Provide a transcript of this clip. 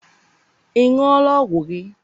ị ṅụọla ọgwụ gị?